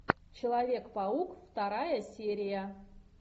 человек паук вторая серия